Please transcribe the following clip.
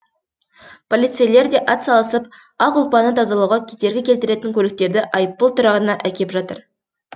полицейлер де атсалысып ақ ұлпаны тазалауға кедергі келтіретін көліктерді айыппұл тұрағына әкеп жатыр